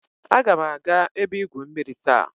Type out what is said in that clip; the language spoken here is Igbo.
Agam aga ebe igwu mmiri taa.